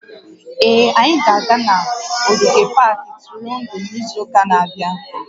Ee, anyị ga-aga n'ogige pak ntụrụndụ n'izu ụka na-abịa